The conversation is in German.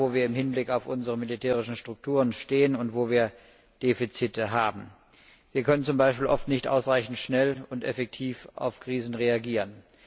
Er stellt dar, wo wir im Hinblick auf unsere militärischen Strukturen stehen und wo wir Defizite haben. Wir können oft nicht ausreichend schnell und effektiv auf Krisen reagieren.